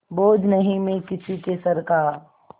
बोझ नहीं मैं किसी के सर का